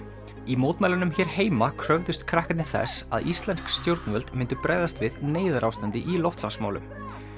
í mótmælunum hér heima kröfðust krakkarnir þess að íslensk stjórnvöld myndu bregðast við neyðarástandi í loftslagsmálum